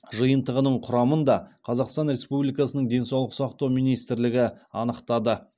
жиынтығының құрамын да қазақстан республикасының денсаулық сақтау министрлігі анықтады